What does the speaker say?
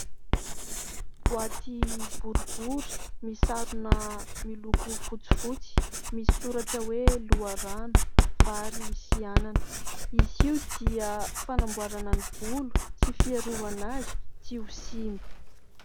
Boaty boribory misarona miloko fotsifotsy misy soratra hoe : "Loharano, vary sy anana". Izy io dia fanamboarana ny volo sy fiarovana azy tsy ho simba.